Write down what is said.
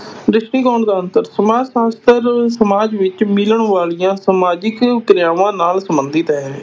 ਦ੍ਰਿਸ਼ਟੀਕੋਣ ਦਾ ਅੰਤਰ, ਸਮਾਜ ਸ਼ਾਸਤਰ ਸਮਾਜ ਵਿਚ ਮਿਲਣ ਵਾਲੀਆਂ ਸਮਾਜਿਕ ਕ੍ਰਿਆਵਾਂ ਨਾਲ ਸੰਬੰਧਿਤ ਹੈ।